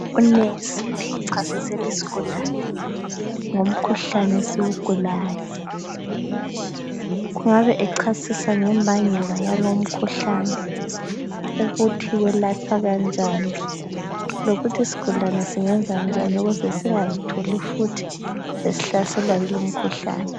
Unesi uchasisela isigulane ngomkhuhlane esiwugulayo. Kungabe echasisa ngembangela yalowu mkhuhlane ukuthi uyelatshwa kanjani lokuthi isigulane singenza njani ukuze singazitholi futhu sesihlaselwa yilowu mkhuhlane.